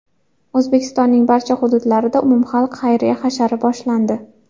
O‘zbekistonning barcha hududlarida umumxalq xayriya hashari boshlandi.